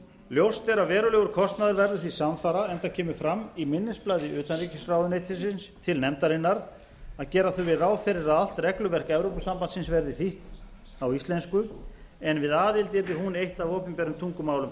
ljóst er að verulegur kostnaður verður því samfara enda kemur fram í minnisblaði utanríkisráðuneytisins til nefndarinnar að gera þurfi ráð fyrir að allt regluverk evrópusambandsins verði þýtt á íslensku en við aðild yrði hún eitt af opinberum tungumálum